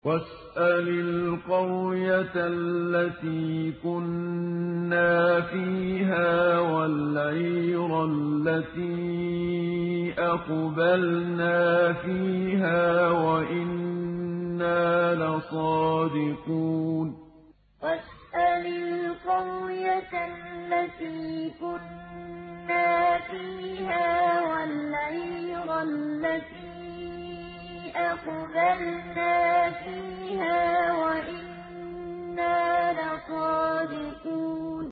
وَاسْأَلِ الْقَرْيَةَ الَّتِي كُنَّا فِيهَا وَالْعِيرَ الَّتِي أَقْبَلْنَا فِيهَا ۖ وَإِنَّا لَصَادِقُونَ وَاسْأَلِ الْقَرْيَةَ الَّتِي كُنَّا فِيهَا وَالْعِيرَ الَّتِي أَقْبَلْنَا فِيهَا ۖ وَإِنَّا لَصَادِقُونَ